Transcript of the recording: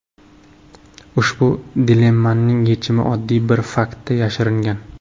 Ushbu dilemmaning yechimi oddiy bir faktda yashiringan.